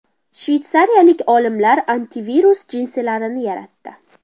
Shveysariyalik olimlar antivirus jinsilarni yaratdi.